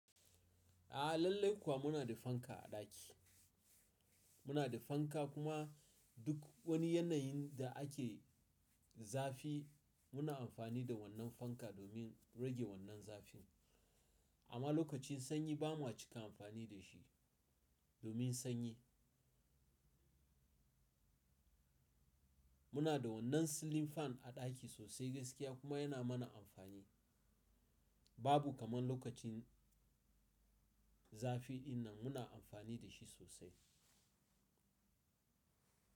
A'a lallai kuwa muna da fanka a ɗaki. Muna da fanka kuma duk wani yanayin da ake zafi muna amfani da wannan fanka domin rage wannan zafin. Amma lokacin sanyi bamu cika amfani da shi domin sanyi. Muna da wannan silin fan a ɗaki sosai gaskiya kuma yana mana amfani. Babu kamar lokacin zafi idan muna amfani da shi sosai.